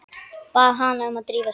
Bað hana að drífa sig.